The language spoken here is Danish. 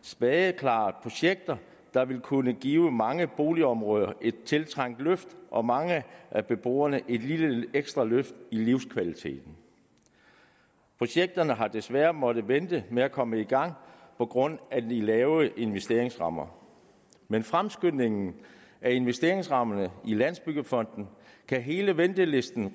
spadeklare projekter der vil kunne give mange boligområder et tiltrængt løft og mange af beboerne et lille ekstra løft i livskvaliteten projekterne har desværre måttet vente med at komme i gang på grund af de lave investeringsrammer med fremskyndelsen af investeringsrammerne i landsbyggefonden kan hele ventelisten